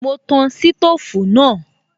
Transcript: Mo tan sítòfù náà